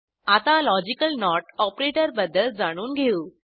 आता logical not ऑपरेटरबद्दल जाणून घेऊ